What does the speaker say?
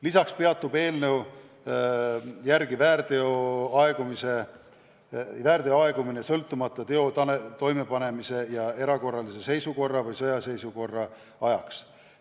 Lisaks peatub eelnõu järgi väärteo aegumine – sõltumata teo toimepanemisest – erakorralise seisukorra või sõjaseisukorra ajaks.